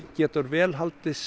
getur vel haldist